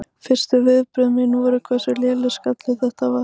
Fyrstu viðbrögð mín voru hversu lélegur skalli þetta var.